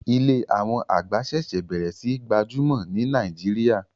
Ilé àwọn àgbà ṣẹ̀ṣẹ̀ bẹ̀rẹ̀ sí n gbajúmọ̀ ní Nàìjíríà